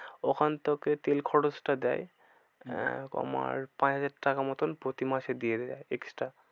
ওখান থেকে তেল খরচটা দেয় আহ পাঁচ হাজার টাকা মতন প্রতি মাসে দিয়ে দেয়া extra